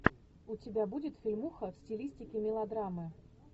у тебя будет фильмуха в стилистике мелодрамы